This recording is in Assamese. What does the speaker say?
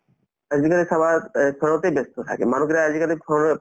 আজিকালি চাবা এহ্ তে ব্যস্ত থাকে মানুহবিলাক আজিকালি phone ত